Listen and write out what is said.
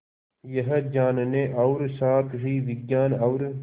यह जानने और साथ ही विज्ञान और